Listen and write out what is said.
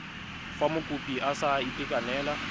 fa mokopi a sa itekanela